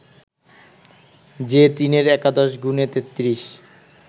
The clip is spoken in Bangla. যে তিনের একাদশ গুণে তেত্রিশ